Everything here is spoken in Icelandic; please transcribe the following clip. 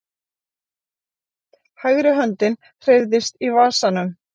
Hægri höndin hreyfðist í vasanum.